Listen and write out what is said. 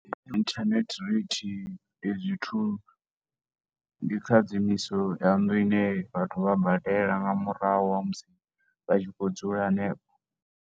Internet rate ndi zwithu, ndi kha dzi ya nnḓu ine vhathu vha badela nga murahu ha musi vha tshi khou dzula hanefho.